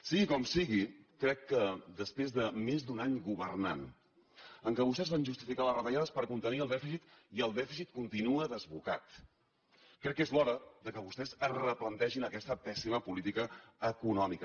sigui com sigui crec que després de més d’un any governant en què vostès van justificar les retallades per contenir el dèficit i el dèficit continua desbocat crec que és l’hora que vostès es replantegin aquesta pèssima política econòmica